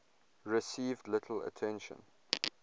received little attention